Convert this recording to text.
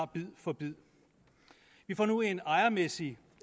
bid for bid vi får nu en ejermæssig